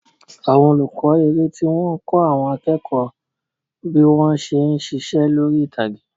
Àwọn olùkọ́ eré tí wọ́n ń kọ́ àwọn akẹ́kọ̀ọ́ teac bí wọ́n ṣe ń ṣiṣẹ́ lórí ìtàgé.